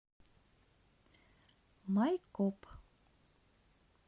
майкоп